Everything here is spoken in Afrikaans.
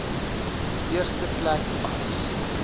eerste plek vas